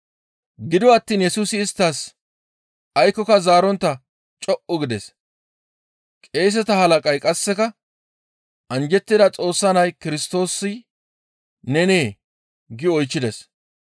Gido attiin Yesusi isttas aykkoka zaarontta co7u gides; qeeseta halaqay qasseka, «Anjjettida Xoossa Nay Kirstoosi nenee?» gi oychchides.